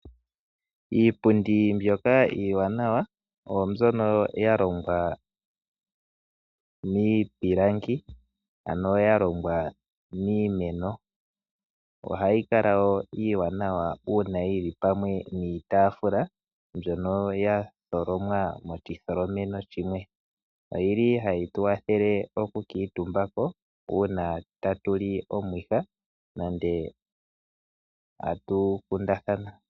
Iipundi mbyoka iiwanawa oyo mbyono ya longwa miipilangi, ano ya longwa miimeno. Ohayi kala wo iiwanawa uuna yi li pamwe niitaafula mbyono ya tholomwa moshitholomo shimwe. Ohayi tu kwathele okukuutumba ko uuna tatu li omwiha nenge tatu kundathana.